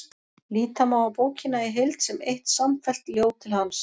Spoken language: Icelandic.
Líta má á bókina í heild sem eitt samfellt ljóð til hans.